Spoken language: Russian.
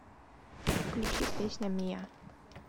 включи песня миа